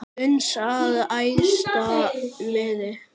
uns að æðsta miði